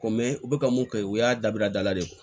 Ko u bɛ ka mun kɛ o y'a dabila dala de ye